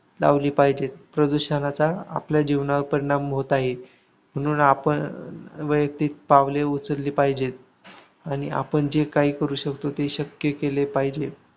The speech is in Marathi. लावली पाहिजेत. प्रदूषणाचा आपल्या जीवनावर परिणाम होत आहे. म्हणून आपण वैयक्तिक पातळीवर पावले उचलली पाहिजेत. आणि आपण जे काही करू शकतो, ते शक्य केले पाहिजेत.